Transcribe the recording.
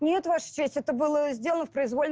ну вот ваша честь это было сделано в произвольном